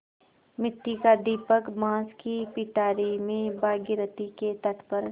मिट्टी का दीपक बाँस की पिटारी में भागीरथी के तट पर